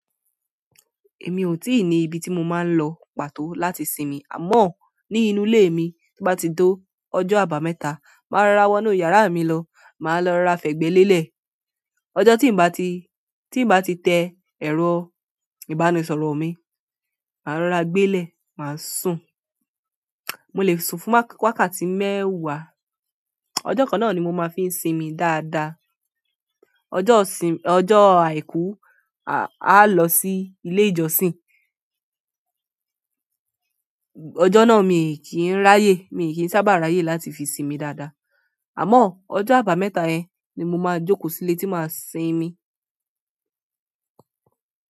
Èmi ò tíì ní ibi tí mo máa ń lọ pàtó láti sinmi, àmọ́ ní inú ilé mi. Bí bá ti to ọjọ́ àbámẹ́ta, màá rorá wọnú yàrá mi lọ, màá lọ ra fẹ̀gbẹ́ lélẹ̀. Ọjọ́ tí bá ti, tí bá ti tẹ ẹ̀rọ ìbánisọ̀rọ̀ mi, màá rorá gbé lẹ̀, màá sùn. Mo lè sùn fún wákàtí mẹ́wàá. Ọjọ́ kan náà ni mo máa fi ń sinmi dáadáa. Ọjọ́ sin-- ọjọ́ àìkú, a lọ sí ilé ìjọsìn. Ọjọ́ náà mi kì í ráyè, mi kì í sábà ráyè láti fi sinmi dáadáa. Àmọ́ ọjọ́ àbámẹ́ta ẹ ni mo máa jókòó sílé tí máa sinmi.